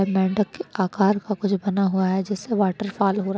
के आकार का कुछ बना हुआ है जिस से वॉटर्फॉल हो रहा --